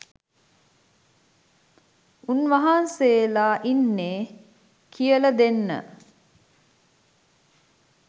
උන් වහන්සේලා ඉන්නෙ කියල දෙන්න